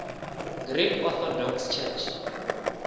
greek orthodox church